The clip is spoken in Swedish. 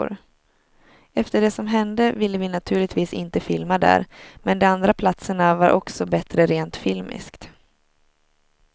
Efter det som hände ville vi naturligtvis inte filma där, men de andra platserna var också bättre rent filmiskt.